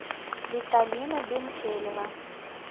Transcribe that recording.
виталина бентелева